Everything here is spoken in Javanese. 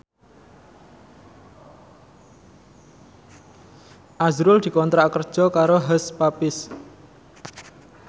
azrul dikontrak kerja karo Hush Puppies